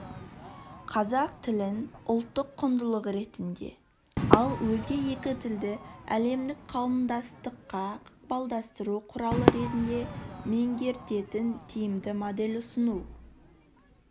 қазақ тілін ұлттық құндылық ретінде ал өзге екі тілді әлемдік қауымдастыққа ықпалдастыру құралы ретінде меңгертетін тиімді модель ұсыну